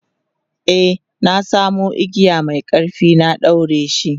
e na samu igiya Mai ƙarfi na daureshi